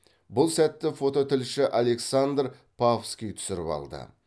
бұл сәтті фототілші александр павский түсіріп алды